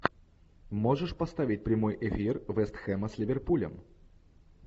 можешь поставить прямой эфир вест хэма с ливерпулем